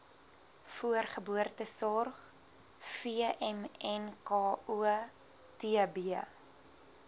voorgeboortesorg vmnko tb